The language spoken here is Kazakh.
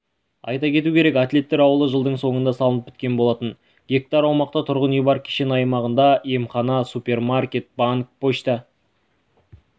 айта кету керек атлеттер ауылы жылдың соңында салынып біткен болатын га аумақта тұрғын үй бар кешен аймағында емхана супермаркет банк пошта